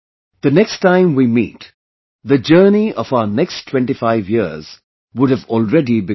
The next time we meet, the journey of our next 25 years would have already begun